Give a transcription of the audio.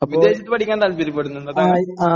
വിദേശത്തു പഠിക്കാൻ നതാല്പര്യപ്പെടുന്നുണ്ടോ താങ്കൾ?